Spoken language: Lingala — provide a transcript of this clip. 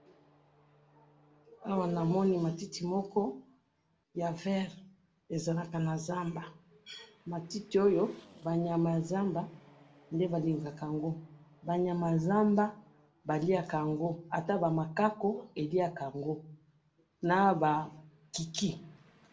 Awa namoni matiti moko ya vert, ezakala na nazamba, matiti oyo ba nyama ya zamba nde balingaka yango, banyama ya zamba baliyaka yango ata bama kaku baliyaka yango, naba kiki.